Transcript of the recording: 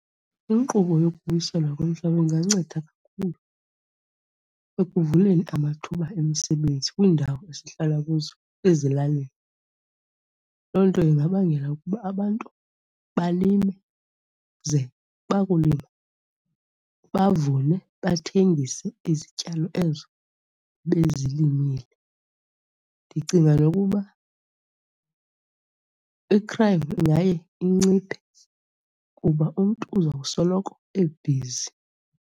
Inkqubo yokubuyiselwa komhlaba inganceda kakhulu ekuvuleni amathuba emisebenzi kwiindawo esihlala kuzo ezilalini. Loo nto ingabangela ukuba abantu balime ze bakulima, bavune bathengise izityalo ezo bezilimile. Ndicinga nokuba i-crime ingaye inciphe kuba umntu uza kusoloko ebhizi.